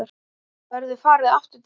Verður farið aftur til baka?